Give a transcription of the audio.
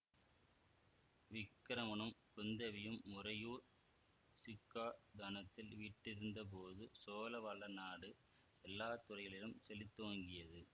விக்கிரமனும் குந்தவியும் உறையூர் சிக்காதனத்தில் வீற்றிருந்த போது சோழ வளநாடு எல்லா துறைகளிலும் செழித்தோங்கியது